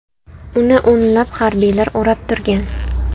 Uni o‘nlab harbiylar o‘rab turgan.